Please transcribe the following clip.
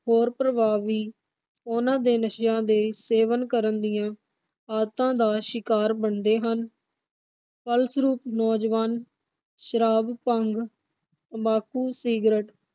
ਹੋਰ ਪ੍ਰਭਾਵ ਵੀ ਉਨ੍ਹਾਂ ਦੇ ਨਸ਼ਿਆਂ ਦੇ ਸੇਵਨ ਕਰਨ ਦੀਆਂ ਆਦਤਾਂ ਦਾ ਸ਼ਿਕਾਰ ਬਣਦੇ ਹਨ। ਫਲਸਰੂਪ ਨੌਜਵਾਨ ਸ਼ਰਾਬ, ਭੰਗ, ਤੰਬਾਕੂ, ਸਿਗਰਟ